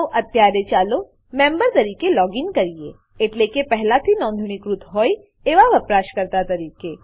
તો અત્યારે ચાલો મેમ્બર મેમ્બર તરીકે લોગીન કરીએ એટલે કે પહેલાથી નોંધણીકૃત હોય એવા વપરાશકર્તા તરીકે